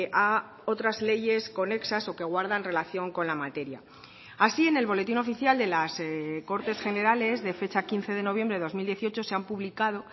a otras leyes conexas o que guardan relación con la materia así en el boletín oficial de las cortes generales de fecha quince de noviembre de dos mil dieciocho se han publicado